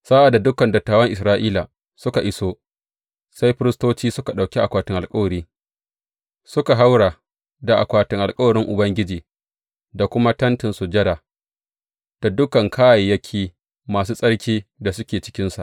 Sa’ad da dukan dattawan Isra’ila suka iso, sai firistoci suka ɗauki akwatin alkawarin, suka haura da akwatin alkawarin Ubangiji da kuma Tentin Sujada, da dukan kayayyaki masu tsarkin da suke cikinsa.